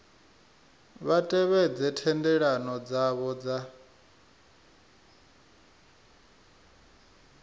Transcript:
vha tevhedze thendelano dzavho dza